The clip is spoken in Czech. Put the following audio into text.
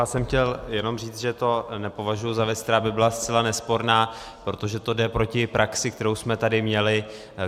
Já jsem chtěl jenom říct, že to nepovažuji za věc, která by byla zcela nesporná, protože to jde proti praxi, kterou jsme tady měli.